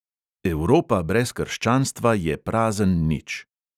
Evropa brez krščanstva je prazen nič.